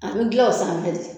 An min dilan o sanfɛ de.